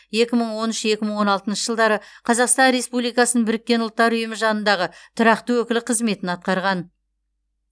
екі мың он үш екі мың он алтыншы жылдары қазақстан республикасының біріккен ұлттар ұйымы жанындағы тұрақты өкілі қызметін атқарған